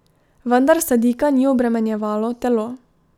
Vendar Sadika ni obremenjevalo telo.